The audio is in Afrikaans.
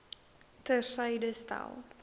ter syde stel